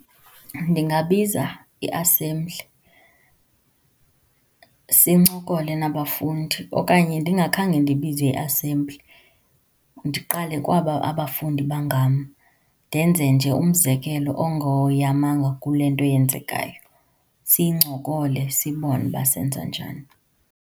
Ndingabiza i-assembly sincokole nabafundi. Okanye ndingakhange ndibize i-assembly, ndiqale kwaba abafundi , ndenze nje umzekelo ongoyamanga kule nto yenzekayo, siyincokole, sibone uba senza njani.